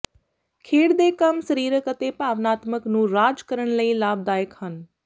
ਖੇਡ ਦੇ ਕੰਮ ਸਰੀਰਕ ਅਤੇ ਭਾਵਨਾਤਮਕ ਨੂੰ ਰਾਜ ਕਰਨ ਲਈ ਲਾਭਦਾਇਕ ਹਨ